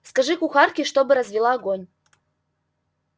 скажи кухарке чтобы развела огонь